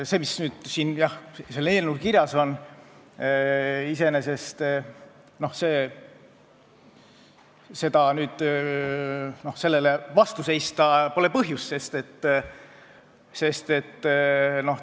Iseenesest sellele eelnõule – sellele, mis siin kirjas on – vastu seista pole põhjust.